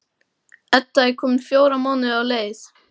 Edda er komin fjóra mánuði á leið.